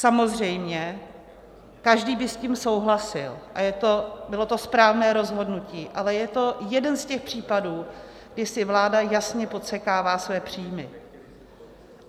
Samozřejmě každý by s tím souhlasil a bylo to správné rozhodnutí, ale je to jeden z těch případů, kdy si vláda jasně podsekává své příjmy.